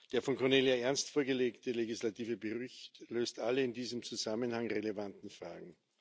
Der von Cornelia Ernst vorgelegte legislative Bericht löst alle in diesem Zusammenhang relevanten Fragen.